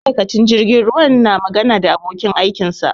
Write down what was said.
Ma'aikincin jirgin ruwa na na magana da abokin aikin sa